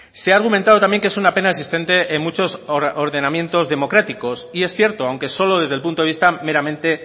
se ha argumentado también que es una pena existente en muchos ordenamientos democráticos y es cierto aunque solo desde el punto de vista meramente